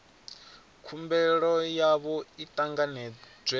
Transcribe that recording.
khumbelo yavho i ṱanganedzwe na